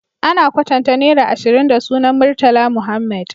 Ana kwatanta naira ashirin da sunan murtala muhammed